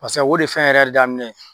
Pasa o de fɛn yɛrɛ daminɛ ye.